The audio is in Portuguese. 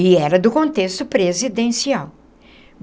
E era do contexto presidencial.